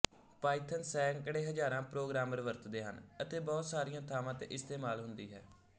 Python ਸੈਂਕੜੇ ਹਜ਼ਾਰਾਂ programmer ਵਰਤਦੇ ਹਨ ਅਤੇ ਬਹੁਤ ਸਾਰੀਆਂ ਥਾਵਾਂ ਤੇ ਇਸਤੇਮਾਲ ਹੁੰਦੀ ਹੈ